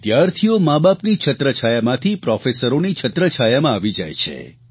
વિદ્યાર્થીઓ માબાપની છત્રછાયામાંથી પ્રોફેસરોની છત્રછાયામાં આવી જાય છે